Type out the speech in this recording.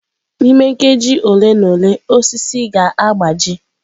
N'ime nkeji ole na ole, osisi ga-agbaji.